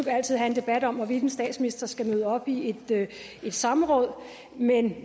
altid have en debat om hvorvidt en statsminister skal møde op i et samråd men